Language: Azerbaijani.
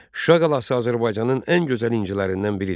Şuşa qalası Azərbaycanın ən gözəl incilərindən biridir.